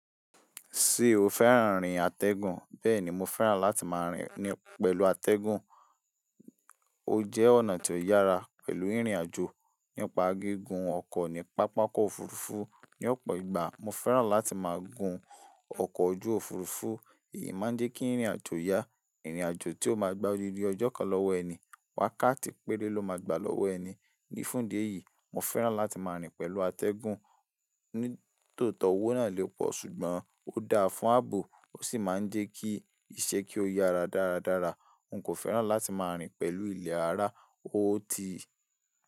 Ṣé o fẹ́ràn rín atẹ́gùn? Bẹ́ẹ̀ni, mo fẹ́ràn láti máa rìn pẹ̀lú atẹ́gùn, ó jẹ́ ọ̀nà tó yára pẹ̀lú irìn àjò. Nípa gígùn ọkọ̀ ní pápákọ̀ òfurufú ní ọ̀pọ̀ ìgbà, mo fẹ́ràn láti máa gun ọkọ̀ ojú òfurufú, èyí máa ń jẹ́ kí rìnrìn àjò yá. Ìrìn àjò tí ó máa gbà odidi ọjọ́ kan lọ́wọ́ ẹni, wákàtí péré ló máa gbà lọ́wọ́ ẹni. Ní fún ìdí eyìí, mo fẹ́ràn láti máa rìn pẹ̀lú atẹ́gùn, nítòótọ́, owó náà lè pọ̀ ṣùgbọ́n ó dáa fún ààbò, ó sì máa ń jẹ́ kí iṣẹ́ kí ó yára dáradára. N kò fẹ́ràn láti máa rìn pẹ̀lú ilẹ̀ rárá, ó tì.